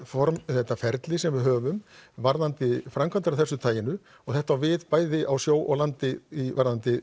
þetta ferli sem við höfum varðandi framkvæmdir af þessu tagi og þetta á við bæði á sjó og landi varðandi